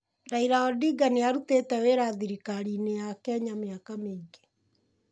Raila Odinga nĩ arutĩte wĩra thirikari-inĩ ya Kenya mĩaka mĩingĩ.